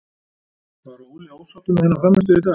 Var Óli ósáttur með hennar frammistöðu í dag?